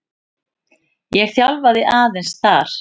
Ég þjálfaði aðeins þar.